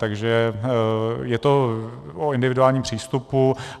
Takže je to o individuálním přístupu.